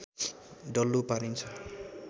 डल्लो पारिन्छ